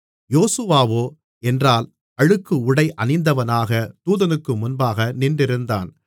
யோசுவாவோ என்றால் அழுக்கு உடை அணிந்தவனாகத் தூதனுக்கு முன்பாக நின்றிருந்தான்